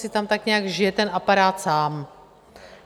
si tam tak nějak žije ten aparát sám.